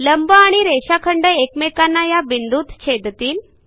लंब आणि रेषाखंड एकमेकांना या बिंदूत छेदतील